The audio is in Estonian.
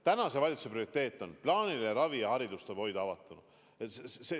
Tänase valitsuse prioriteet on plaaniline ravi ja see, et hariduse saab hoida avatuna.